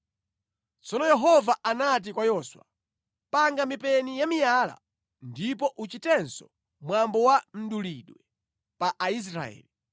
Tsono Yehova anati kwa Yoswa, “Panga mipeni ya miyala ndipo uchitenso mwambo wa mdulidwe pa Aisraeli.”